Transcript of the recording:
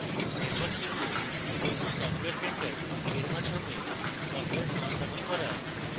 এরপর শিখব ubuntu software center এর মাধ্যমে সফটওয়্যার সংস্থাপন করা